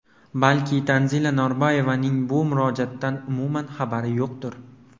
Balki Tanzila Norboyevaning bu murojaatdan umuman xabari yo‘qdir.